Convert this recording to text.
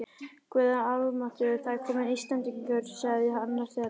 Guð almáttugur, það eru komnir Íslendingar, sagði annar þeirra.